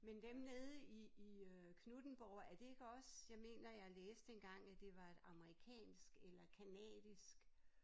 Men dem nede i i øh Knuthenborg er det ikke også jeg mener jeg læste engang at det var et amerikansk eller canadisk